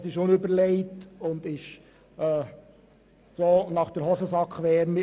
Das wäre ein unüberlegtes Vorgehen, und so politisieren wir nicht!